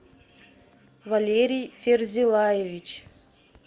валерий ферзилаевич